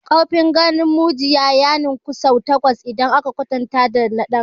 Ƙarfin ganin mujiya ya ninka sau takwas idan aka kwatanta dana ɗan adam.